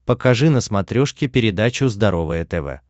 покажи на смотрешке передачу здоровое тв